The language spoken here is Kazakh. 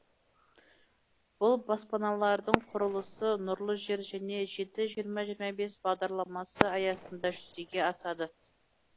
бұл баспаналардың құрылысы нұрлы жер және жеті жиырма жиырма бес бағдарламасы аясында жүзеге асады